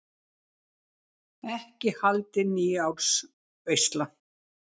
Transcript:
Ekki haldin nýársveisla.